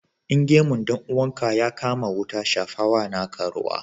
In gemun dan uwanka ya kama wuta shafawa na ka ruwa.